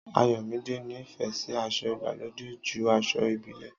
Àyọmidẹ nì fé sì àsọ Ìgbàlode jù àsọ̀ ìbílẹ